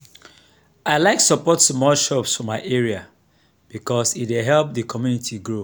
i like support small shops for my area because e dey help the community grow.